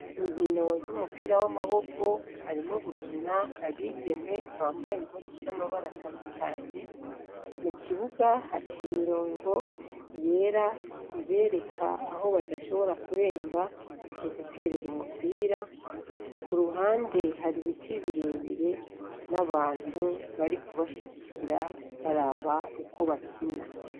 Inkino z'umupira w'amaboko harimwo gukina, abigeme bambaye impuzu z'amabara atandukanye. Mu kibuga haciye imirongo y'era ibereka aho badashobora kurenga mu guterera umupira. Ku ruhande hari ibiti bire bire n'abantu bari kubashigikira baraba uko bakina.